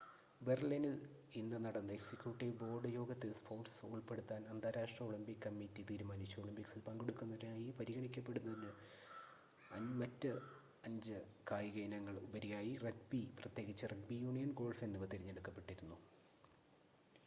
ബെർലിനിൽ ഇന്ന് നടന്ന executive board യോഗത്തിൽ സ്പോർട്‌സ് ഉൾപ്പെടുത്താൻ അന്താരാഷ്‌ട്ര ഒളിമ്പിക് കമ്മിറ്റി തീരുമാനിച്ചു ഒളിമ്പിക്സിൽ പങ്കെടുക്കുന്നതിനായി പരിഗണിക്കപ്പെടുന്നതിന് മറ്റ് അഞ്ച് കായിക ഇനങ്ങൾക്ക് ഉപരിയായി റഗ്ബി പ്രത്യേകിച്ച് റഗ്ബി യൂണിയൻ ഗോൾഫ് എന്നിവ തിരഞ്ഞെടുക്കപ്പെട്ടിരുന്നു